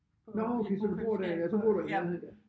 Nåh okay så du bor der ja så bor du i nærheden der